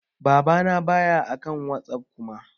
Baba na ba ya akan WhatsApp Kuma.